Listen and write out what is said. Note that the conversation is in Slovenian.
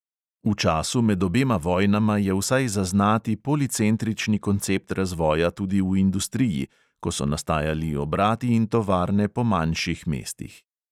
V času med obema vojnama je vsaj zaznati policentrični koncept razvoja tudi v industriji, ko so nastajali obrati in tovarne po manjših mestih.